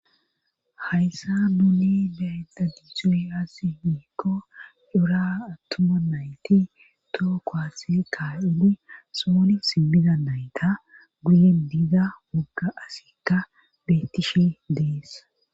Hayssa nuuni daydagizoy asi miikko ura attuma nayti tookko ase kaayuni sooni simmiza nayta guyen biiza wogga asikka bettishe dees.